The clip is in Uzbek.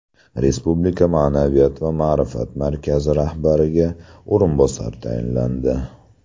Respublika Ma’naviyat va ma’rifat markazi rahbariga o‘rinbosar tayinlandi.